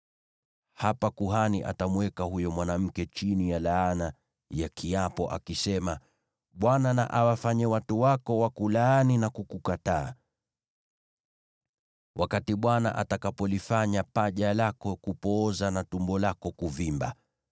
hapa kuhani atamweka huyo mwanamke chini ya laana ya kiapo akisema: “ Bwana na awafanye watu wako wakulaani na kukukataa, wakati Bwana atakapolifanya paja lako kupooza na tumbo lako kuvimba.